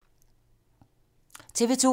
TV 2